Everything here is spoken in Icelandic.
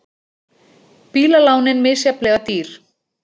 Bílalánin misjafnlega dýr